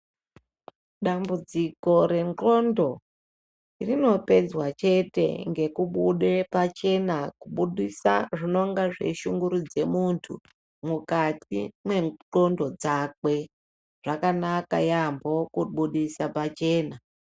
Dambudziko rendxondo rinopedzwa chete ngekubude pachena ,kubudisa zvinonge zveishungurudze muntu, mukati mwendxondo dzakwe zvakanaka yaampho kubudise pachena.